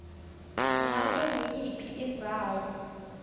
ngabe nguyiphi indzawo